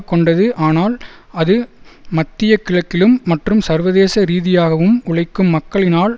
கொண்டது ஆனால் அது மத்தியகிழக்கிலும் மற்றும் சர்வதேச ரீதியாகவும் உழைக்கும் மக்களினால்